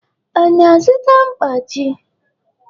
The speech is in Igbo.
Ọ na-azụta mkpachi?